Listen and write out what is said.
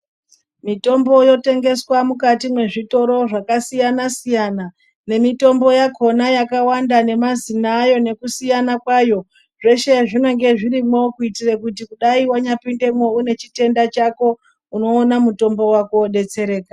Mitombo yotengeswa mukati mezvitoro zvakasiyana siyana ,nemitombo yakona yakawanda nemazina ayo nekusiyana kwayo, zvese zvinenge zvirimo kuitire kuti dai wanyapindemo unechitenda chako unowona mutombo wako wodetsereka.